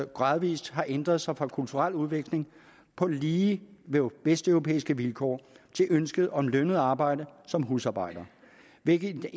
gradvis har ændret sig fra kulturel udveksling på lige vesteuropæiske vilkår til ønsket om lønnet arbejde som husarbejder hvilket